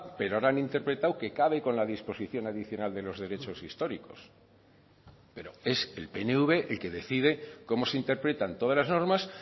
pero ahora han interpretado que cabe con la disposición adicional de los derechos históricos pero es el pnv el que decide cómo se interpretan todas las normas